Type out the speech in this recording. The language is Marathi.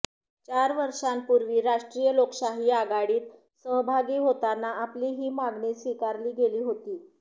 चार वर्षांपूर्वी राष्ट्रीय लोकशाही आघाडीत सहभागी होताना आपली ही मागणी स्वीकारली गेली होती